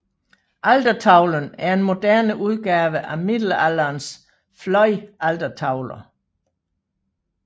Altertavlen er en moderne udgave af Middelalderens fløjaltertavler